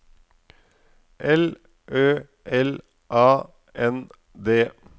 L Ø L A N D